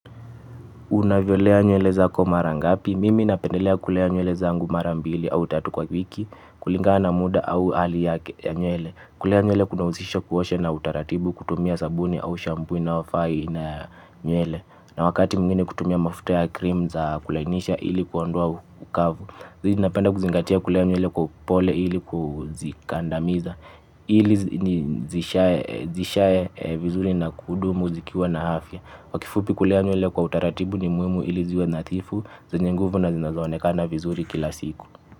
Unaviolea nyuele za komara ngapi? Mimi napendelea kulea nywele zangu mara mbili au tatu kwa wiki kulingana na muda au ali yake nywele. Kulea nywele kuna uzisha kuosha na utaratibu kutumia sabuni au shampoo ina wafai na nywele. Na wakati mwingine kutumia mafuta ya cream za kulainisha ili kuondoa ukavu. Hivi napenda kuzingatia kulea nywele kwa upole ili kuzingatia. Ili zishae vizuri na kudumu zikiwa na hafya kwa kifupi kulea nywele kwa utaratibu ni muimu ili ziwe nathifu. Zenye nguvu na zinazonekana vizuri kila siku.